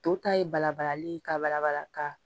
To ta ye balabalali ye ka bala bala ka